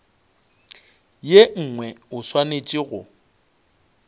ye nngwe o swanetše go